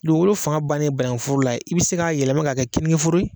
Dugukolo fanga bannen banangu foro i be se k'a yɛlɛmamɛ ka kɛ keninke foro ye